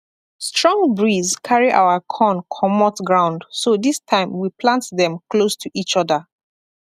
strong breeze carry our corn comot ground so this time we plant dem close to each other